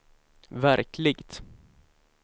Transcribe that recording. verkligt